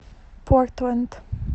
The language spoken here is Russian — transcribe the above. портленд